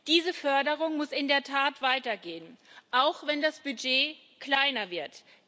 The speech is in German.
Diese Förderung muss in der Tat weitergehen, auch wenn das Budget kleiner wird.